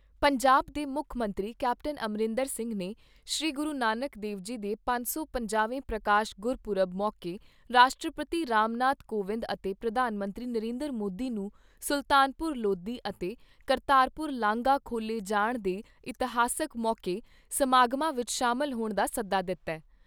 ਪੰਜਾਬ ਦੇ ਮੁੱਖ ਮੰਤਰੀ ਕੈਪਟਨ ਅਮਰਿੰਦਰ ਸਿੰਘ ਨੇ ਸ੍ਰੀ ਗੁਰੂ ਨਾਨਕ ਦੇਵ ਜੀ ਦੇ ਪੰਜ ਸੌ ਪੰਜਾਹਵੇਂ ਪ੍ਰਕਾਸ਼ ਗੁਰਪੁਰਬ ਮੌਕੇ ਰਾਸ਼ਟਰਪਤੀ ਰਾਮਨਾਥ ਕੋਵਿੰਦ ਅਤੇ ਪ੍ਰਧਾਨ ਮੰਤਰੀ ਨਰਿੰਦਰ ਮੋਦੀ ਨੂੰ ਸੁਲਤਾਨਪੁਰ ਲੋਧੀ ਅਤੇ ਕਰਤਾਰਪੁਰ ਲਾਂਘਾ ਖੋਲ੍ਹੇ ਜਾਣ ਦੇ ਇਤਿਹਾਸਕ ਮੌਕੇ ਸਮਾਗਮਾਂ ਵਿਚ ਸ਼ਾਮਲ ਹੋਣ ਦਾ ਸੱਦਾ ਦਿੱਤਾ ।